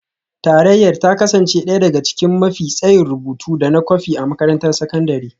Tarayyar ta kasance ɗaya daga cikin mafi tsayin rubutu da na kwafi a makarantar sakandare